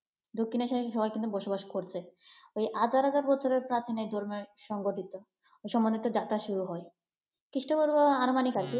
দক্ষিণ এশিয়ায় সবাই কিন্তু বসবাস করছেন এই হাজার হাজার বছরের প্রাথমিক র্ধমের সংগঠিত সমন্বিত যাত্রা শুরু হয়। খ্রীস্টধর্ম আনুমানিক আরকি